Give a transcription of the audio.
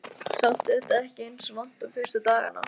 Samt er þetta ekki eins vont og fyrstu dagana.